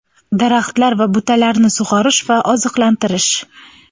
Daraxtlar va butalarni sug‘orish va oziqlantirish:.